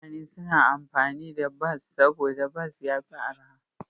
Mutane suna amfani da bas saboda bas ya fi arha.